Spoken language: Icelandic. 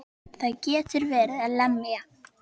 Það getur verið að lemja.